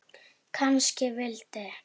Kannski vildi